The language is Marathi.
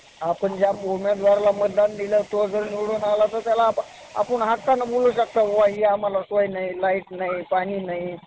खूप सर्व गावामधली सर्व काही मंदिरं आहे त्या पूर्व मंदिरांना भेटी देत असते आणि गावामधल्या मंदिरांना भेट दिलेल्या आहेत. आजूबाजूच्या मंदिरांना पण भेट दिलेल्या आहेत आणि मला देवाचं खूप